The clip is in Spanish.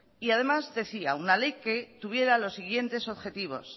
y además decía una ley que tuviera los siguientes objetivos